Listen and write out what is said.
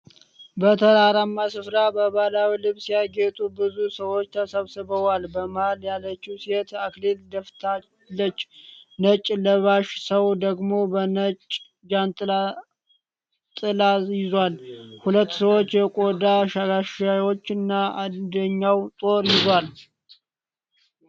በተራራማ ስፍራ፣ በባህላዊ ልብስ ያጌጡ ብዙ ሰዎች ተሰብስበዋል። በመሃል ያለችው ሴት አክሊል ደፍታለች፤ ነጭ ለባሽ ሰው ደግሞ በነጭ ጃንጥላ ጥላ ይዟል። ሁለት ሰዎች የቆዳ ጋሻዎችን እና አንደኛው ጦር ይዟል።